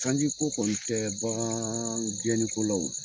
sanji ko kɔni tɛ bagaan gɛnni kɔ la o.